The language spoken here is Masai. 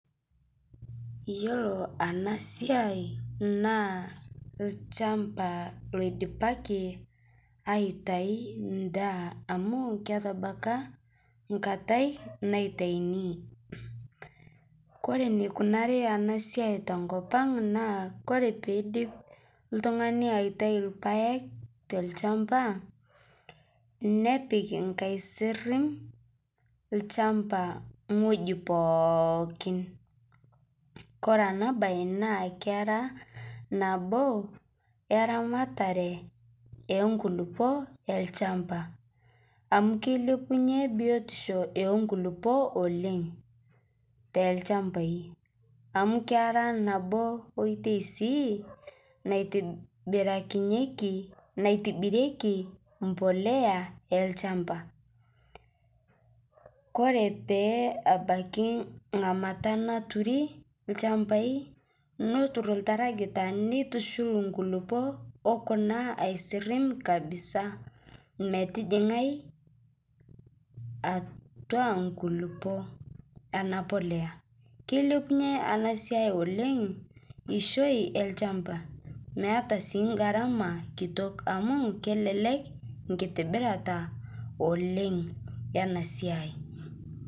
Iyolo enasia na lchamba idipaki aitau endaa amu ketabaki enkata naitauni kore enikunari enasia tenkop aang na ore pidip oltungani aitau irpaek tolchamba nepik olchamba ewueji pooki ore enabaki na kera nabo eramatare enkulukuoni olchamba amu kilepunye biotisho o kulukuo oleng telchambai amu kera nabo oitoi si naitibirieki mbolea olchamba koree pee ebakki engamata napiki lchambai netur oltarakita nitushul nkulukuon okuna metijingae atua nkulupuok enapolea kilepunye enasiai oleng enkishui olchamba meeta si garama kitok amu kelelek nkitibirata oleng enasiai.